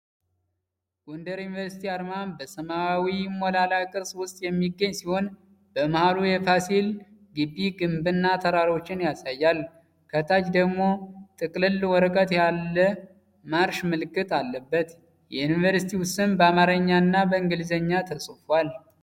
ጎንደር ዩኒቨርሲቲ አርማ በሰማያዊ ሞላላ ቅርጽ ውስጥ የሚገኝ ሲሆን፣ በመሃሉ የፋሲል ግቢ ግንብና ተራሮችን ያሳያል። ከታች ደግሞ ጥቅልል ወረቀት ላይ የማርሽ ምልክት አለበት። የዩኒቨርሲቲው ስም በአማርኛ እና በእንግሊዝኛ ተጽፏል።